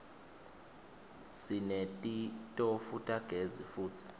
sinetitofu tagezi futsi